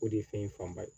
O de ye fɛn in fanba ye